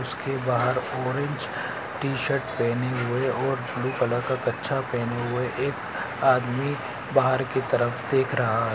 उसके बाहर orange T shirt पहने हुए और ब्लू कलर का कच्छा पहने हुए एक आदमी बाहर की तरफ देख रहा है।